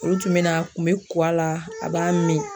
Olu tun bɛ na a kun bɛ ko a la a b'a min